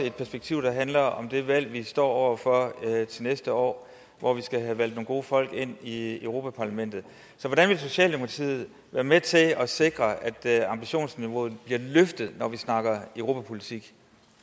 et perspektiv der handler om det valg vi står over for til næste år hvor vi skal have valgt nogle gode folk ind i europa parlamentet så hvordan vil socialdemokratiet være med til at sikre at ambitionsniveauet bliver løftet når vi snakker europapolitik